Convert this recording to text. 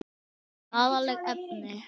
Skaðleg efni.